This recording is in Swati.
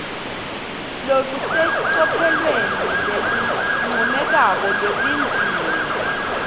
lolusecophelweni lelincomekako lwetidzingo